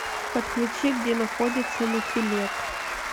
подключи где находится нофелет